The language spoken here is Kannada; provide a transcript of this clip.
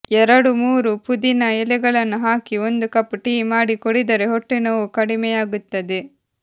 ಎರಡು ಮೂರು ಪುದೀನಾ ಎಲೆಗಳನ್ನು ಹಾಕಿ ಒಂದು ಕಪ್ ಟೀ ಮಾಡಿ ಕುಡಿದರೆ ಹೊಟ್ಟೆ ನೋವು ಕಡಿಮೆಯಾಗುತ್ತದೆ